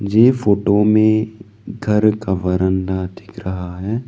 ये फोटो में घर का बरांडा दिख रहा है।